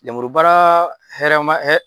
Lemurubara hɛrɛma